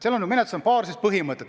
Selles menetluses on paar põhimõtet.